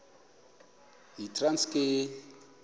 yitranskayi